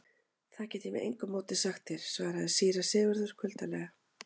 Það get ég með engu móti sagt þér, svaraði síra Sigurður kuldalega.